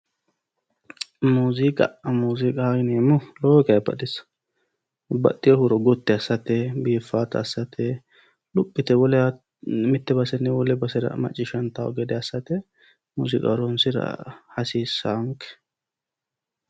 Muziiqa muziiqaho yineemmohu lowo geha baxisaho baxxiho huuro gotti assate biifaata assate lophi yite mitte basenni wolewa macciishshantaho gede assate muuziiqa horoonsira hasiissahonke.